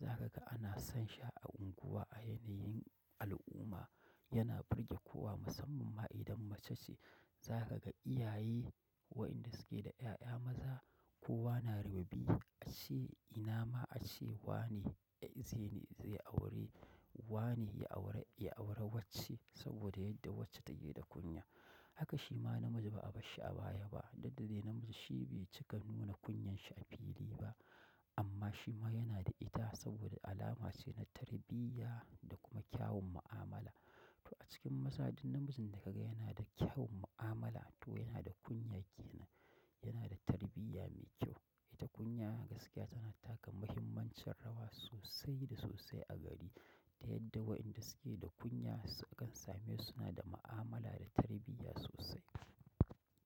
zakaga sna son shi a unguwa a yanayin al'umma yana burge kowa musamman ma idan mace ce. Za ka ga iyaye wayanda suke da 'ya'ya maza kowa na rububi. Ace ina ace wane. Wane ya aure, ya aure wacce saboda yadda wacce take da kunya. Haka shi ma namiji ba a bashshi abaya ba, duk dai namiji shi bai cika nuna kunyan shi a fili ba. Amma shi ma yana da ita saboda alama ce na tarbiyya da kuma kyawun mu'amala. To a cikin maza duk namijin da ka ga yana da kyawun mu'amala to yana da kunya ke nan. Yana da tarbiyya mai kyau. Ita kunya gaskiya tana taka muhimmancin rawa sosai da sosai a gari. Ya yadda wayanda suke da kunya kan same su suna da mu'amala da tarbiyya sosai.